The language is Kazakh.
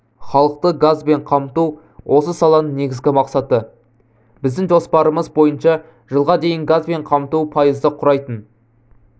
халықты газбен қамту осы саланың негізгі мақсаты біздің жоспарымыз бойынша жылға дейін газбен қамту пайызды құрайтын